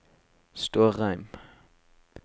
Stårheim